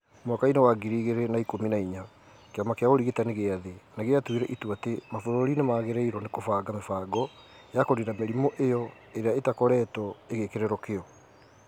Mwaka-inĩ wa ngiri igĩrĩ na ikumi na inya , kĩama kĩa ũrigitani gĩa thĩ nĩ gĩatuire itua atĩ mabũrũri nĩ magĩrĩirũo nĩ kũbanga mĩbango ya kũniina mĩrimũ iyo ĩrĩa itakoretwo ĩgĩkĩrĩrwo kĩyo